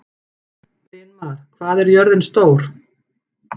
Brynmar, hvað er jörðin stór?